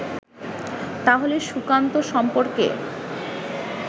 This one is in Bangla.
তাহলে সুকান্ত সম্পর্কে